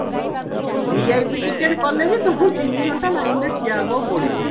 VIP ticket କାଲେ ବି ତମକୁ ତିନି ଘଣ୍ଟା lineରେ ଠିଆ ହବାକୁ ପଡିବ